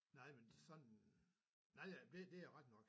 Nej men sådan nej nej det er rigtig nok